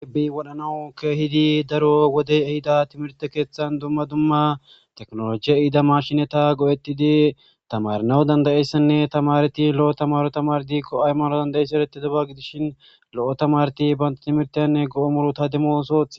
ibbi wodhanawu kehidi daro wode ehida timirte keeththan dumma dumma teknolojiya iida mashinata go7ettidi tamarnawu dandayessanne tamareti lo7o tamaro tamar di ko7ay maro danda7esse ereti daba gidishin lo7o tamareti baynta timirtenne go7o muru ta demo sooth